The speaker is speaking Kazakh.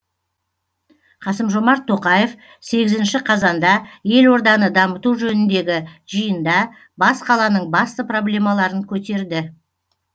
қасым жомарт тоқаев сегізінші қазанда елорданы дамыту жөніндегі жиында бас қаланың басты проблемаларын көтерді